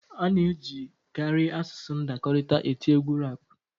A na-ejikarị asụsụ ndakọrịta eti egwu rap